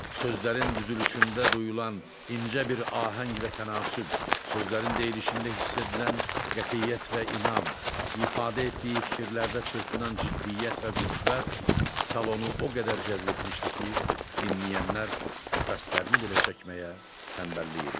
Sözlərin düzülüşündə duyulan incə bir ahəng və tənasüb, sözlərin deyişində hiss edilən qətiyyət və inam, ifadə etdiyi fikirlərdə çırpınan ciddiyyət və qüvvət salonu o qədər cəzb etmişdi ki, dinləyənlər nəfəslərini belə çəkməyə tənbəllik edirdilər.